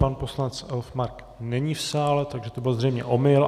Pan poslanec Elfmark není v sále, takže to byl zřejmě omyl.